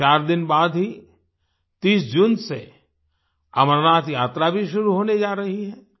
अभी 4 दिन बाद ही 30 जून से अमरनाथ यात्रा भी शुरू होने जा रही है